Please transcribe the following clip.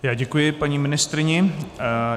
Já děkuji paní ministryni.